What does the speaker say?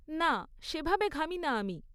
না, সে ভাবে ঘামি না আমি।